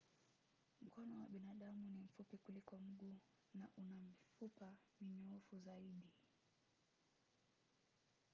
mkono wa binadamu ni mfupi kuliko mguu na una mifupa minyoofu zaidi.